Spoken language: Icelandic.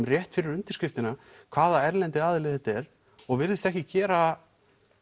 rétt fyrir undirskriftina hvaða erlendi aðili þetta er og virðist ekki gera